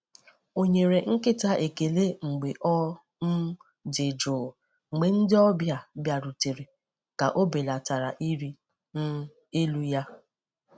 O nyere nkịta ekele mgbe ọ um dị jụụ mgbe ndị ọbịa bịarutere ka o belata ịrị um elu ya.